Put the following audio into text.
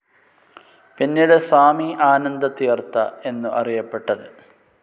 പിന്നീട് സ്വാമി ആനന്ദതീർഥ എന്നു അറിയപ്പെട്ടത്.